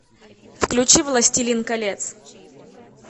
включи властелин колец